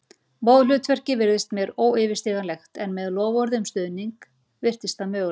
Móðurhlutverkið virtist mér óyfirstíganlegt en með loforði um stuðning virtist það mögulegt.